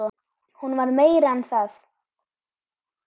Hún var meira en það.